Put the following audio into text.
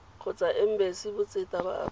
kgotsa embasi botseta ba aforika